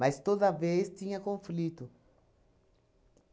Mas toda vez tinha conflito.